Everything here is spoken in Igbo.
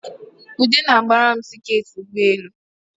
Ude na-gbara m tiketị ụgbọelu